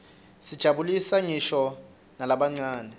tijabulisa nqisho nalabancane